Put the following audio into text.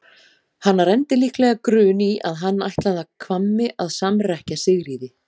Hana renndi líklega grun í að hann ætlaði að Hvammi að samrekkja Sigríði.